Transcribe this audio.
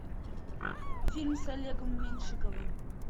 фильм с олегом меньшиковым